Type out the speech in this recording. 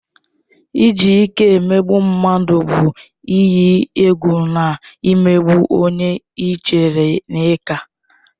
Iji ike emegbu mmadụ bụ ịyi egwu na imegbu onye ị chere na ị ka.